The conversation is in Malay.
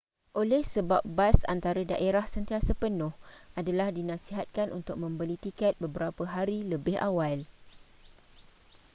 oleh sebab bas antara daerah sentiasa penuh adalah dinasihatkan untuk membeli tiket beberapa hari lebih awal